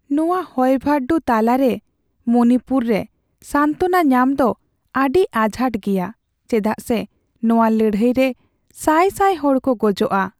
ᱱᱚᱣᱟ ᱦᱩᱭᱵᱷᱟᱨᱰᱩ ᱛᱟᱞᱟᱨᱮ ᱢᱚᱱᱤᱯᱩᱨ ᱨᱮᱥᱟᱱᱛᱚᱱᱟ ᱧᱟᱢ ᱫᱚ ᱟᱹᱰᱤ ᱟᱡᱷᱟᱴ ᱜᱮᱭᱟ, ᱪᱮᱫᱟᱜ ᱥᱮ ᱱᱚᱶᱟ ᱞᱟᱹᱲᱦᱟᱹᱭ ᱨᱮ ᱥᱟᱭ ᱥᱟᱭ ᱦᱚᱲ ᱠᱚ ᱜᱚᱡᱚᱜᱼᱟ ᱾